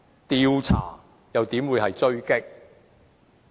調查又怎會是狙擊？